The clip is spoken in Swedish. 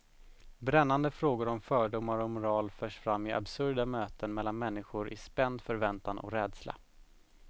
Brännande frågor om fördomar och moral förs fram i absurda möten mellan människor i spänd förväntan och rädsla.